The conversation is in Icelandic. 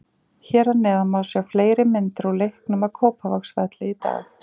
Hér að neðan má sjá fleiri myndir úr leiknum á Kópavogsvelli í dag.